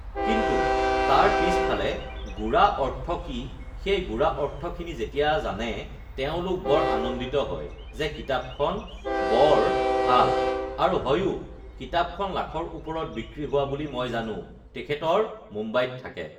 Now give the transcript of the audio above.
কিন্তু তাৰ পিছফালে গোড়া অৰ্থ কি সেই গোড়া অৰ্থখিনি যেতিয়া জানে তেওঁলোক বৰ আনন্দিত হয় যে কিতাপখন বৰ ভাল আৰু হয়ও কিতাপখন লাখৰ ওপৰত বিক্ৰী হোৱা বুলি মই জানোঁ তেখেতৰ মুম্বাইত থাকে